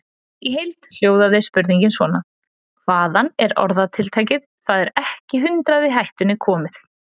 Í heild hljóðaði spurningin svona: Hvaðan er orðatiltækið Það er ekki hundrað í hættunni komið?